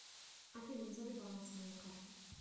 афина назови баланс моей карты